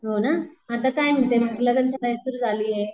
हो ना? आता काय म्हणते मग लग्न सराई सुरु झालीये.